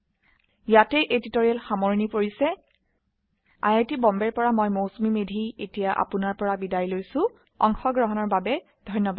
ইয়াতে এই টিউটৰীয়েল সামৰনি পৰিছে আই আই টী বম্বে ৰ পৰা মই মৌচুমী মেধী এতিয়া আপুনাৰ পৰা বিদায় লৈছো অংশগ্ৰহনৰ বাবে ধন্যবাদ